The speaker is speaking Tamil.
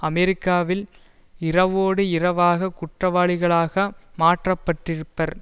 அமெரிக்காவில் இரவோடு இரவாக குற்றவாளிகளாக மாற்றப்பட்டிருப்பர்